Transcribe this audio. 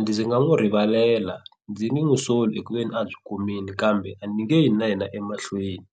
ndzi nga n'wi rivalela ndzi nge n'wi soli hi ku ve ni a byi kumini kambe a ni nge yi na yena emahlweni.